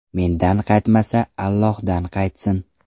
Mendan qaytmasa, Allohdan qaytsin.